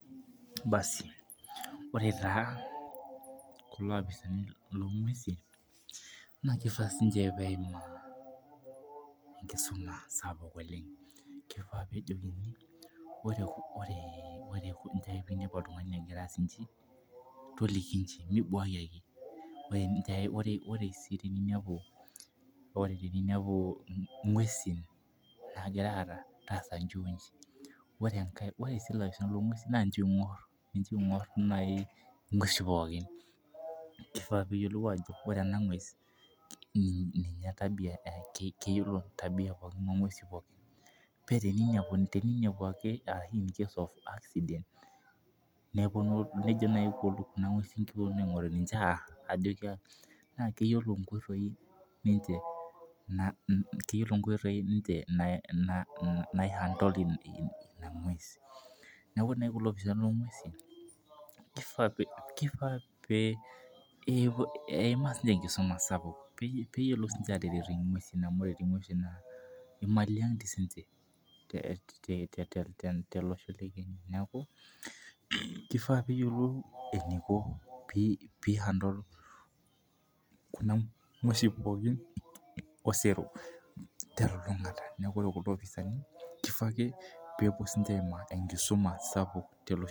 baasi ore taa kulo apisaini loo ng`uesin naa keifaa sinche peimaa enkisuma sapuk oleng` peejeki oree peinepu oltung`ani egira aas inji toliki inji mibwakki ake oree sii teninepu ing`uesin naagira aara torishie oree sii ilafisani loo ng`uesin naa ninche oing`orr ing`uesi poookin keifaa peyiolou ajo nena ing`uesi ninye tabia keyiolo tabia pookin oo ng`uesin pookin pee teneinepu ake arashu ninye neponu nayii kuna ng`uesin aing`oru ninche arr naa keyiolo inkoitoi ninche nai handle ina ng`ues neeku ore naiyiii kulo opisani loo ng`uesin keifaa pee eimaa siche enkisumaa sapuk peeyiolou sinche ateret ing`uesi amu oree tii ing`uesin naa imali toi sinche tele osho le kenya neeku keifaa pee eyiolou eneiko pee handle kuna ng`uesin pookin osero telulungata neeku oree opisani keifaa aaake pee epuo siche aimaa enkisuma sapuk